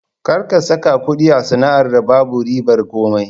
Kar ka saka kuɗi a sana'ar da babu ribar komai!